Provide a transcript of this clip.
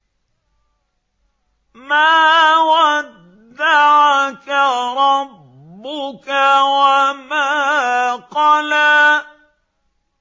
مَا وَدَّعَكَ رَبُّكَ وَمَا قَلَىٰ